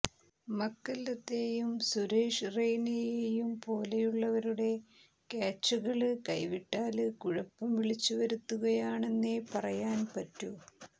മക്കല്ലത്തെയും സുരേഷ് റെയ്നയെയും പോലുള്ളവരുടെ ക്യാച്ചുകള് കൈവിട്ടാല് കുഴപ്പം വിളിച്ചുവരുത്തുകയാണെന്നേ പറയാന് പറ്റൂ